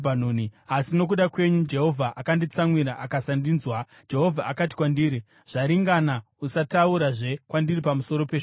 Asi nokuda kwenyu, Jehovha akanditsamwira akasandinzwa Jehovha akati kwandiri, “Zvaringana. Usataurazve kwandiri pamusoro peshoko iri.